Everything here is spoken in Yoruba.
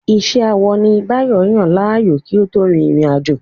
Iṣẹ́ awọ ni Báyọ̀ yàn láàyò kí ó tó rin ìrìn àjò.